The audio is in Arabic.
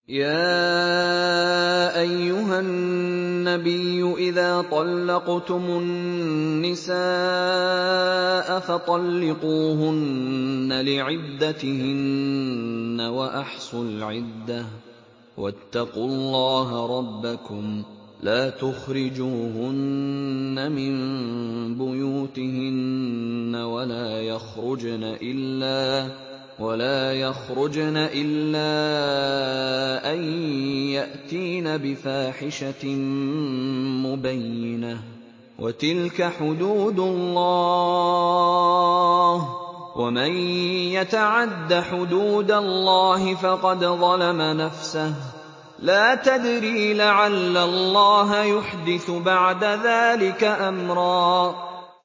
يَا أَيُّهَا النَّبِيُّ إِذَا طَلَّقْتُمُ النِّسَاءَ فَطَلِّقُوهُنَّ لِعِدَّتِهِنَّ وَأَحْصُوا الْعِدَّةَ ۖ وَاتَّقُوا اللَّهَ رَبَّكُمْ ۖ لَا تُخْرِجُوهُنَّ مِن بُيُوتِهِنَّ وَلَا يَخْرُجْنَ إِلَّا أَن يَأْتِينَ بِفَاحِشَةٍ مُّبَيِّنَةٍ ۚ وَتِلْكَ حُدُودُ اللَّهِ ۚ وَمَن يَتَعَدَّ حُدُودَ اللَّهِ فَقَدْ ظَلَمَ نَفْسَهُ ۚ لَا تَدْرِي لَعَلَّ اللَّهَ يُحْدِثُ بَعْدَ ذَٰلِكَ أَمْرًا